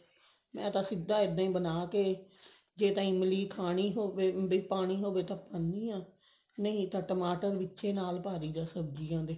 ਮੈਂ ਤਾਂ ਸਿੱਧਾ ਏਵੇਂ ਹੀ ਬਣ ਕੇ ਜੇ ਇਮਲੀ ਖਾਣੀ ਹੋਵੇ ਵੀ ਪਾਣੀ ਹੋਵੇ ਤਾਂ ਪਪਾਉਣੀ ਹਾਂ ਨਹੀ ਤਾਂ ਟਮਾਟਰ ਵਿਚੇ ਨਾਲ ਪਾ ਦਈਦਾ ਸਬਜੀਆਂ ਦੇ